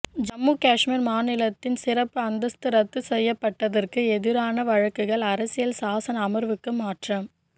ஜம்மு காஷ்மீர் மாநிலத்தின் சிறப்பு அந்தஸ்து ரத்து செய்யப்பட்டதற்கு எதிரான வழக்குகள் அரசியல் சாசன அமர்வுக்கு மாற்றம்